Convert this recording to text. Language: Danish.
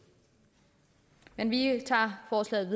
men vi tager forslaget